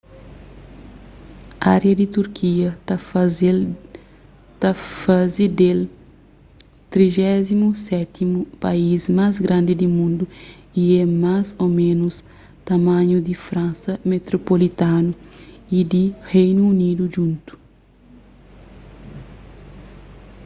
ária di turkia ta faze del 37º país más grandi di mundu y é más ô ménus tamanhu di fransa metropolitanu y di reinu unidu djuntu